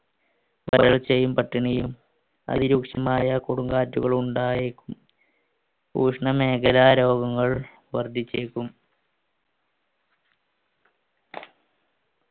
വരൾചെയ്യും പട്ടിണിയും അതിരൂക്ഷമായ കൊടുങ്കാറ്റുകൾ ഉണ്ടായേക്കും ഊഷ്‌ണ മേഖല രോഗങ്ങൾ വർദ്ധിച്ചേക്കും